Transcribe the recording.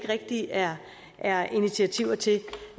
rigtig er er initiativer til